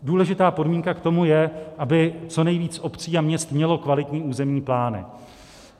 Důležitá podmínka k tomu je, aby co nejvíc obcí a měst mělo kvalitní územní plány.